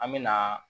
An me na